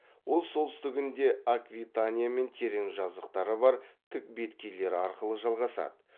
ол солтүстігінде аквитаниямен терең жазықтары бар тік беткейлер арқылы жалғасады